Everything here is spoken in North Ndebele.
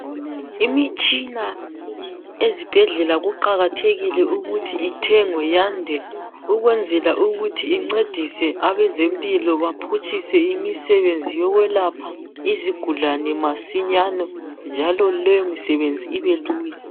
Imitshina ezibhedlela kuqakathekile ukuthi ithengwe yande ukwenzela ukuthi incedise abezempilo baphutshise imisebenzi yokwelapha izigulane masinyane njalo leyo misebenzi ibe lula.